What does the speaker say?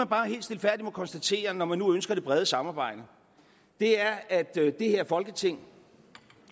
konstatere når man nu ønsker det brede samarbejde er at det her folketing